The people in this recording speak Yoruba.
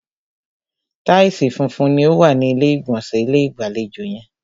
Taìsì funfun ni o wa ni ilé ìgbọ̀nsẹ̀ ilé-ìgbàlejò yẹn.